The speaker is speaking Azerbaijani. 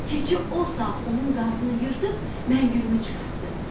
Keçi o saat onun qarnını yırtıb Məngülümü çıxartdı.